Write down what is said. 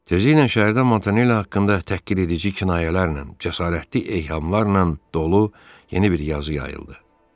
Tezləklə şəhərdə Montanelli haqqında təhqiredici kinayələrlə, cəsarətli eyhamlarla dolu yeni bir yazı yayıldı.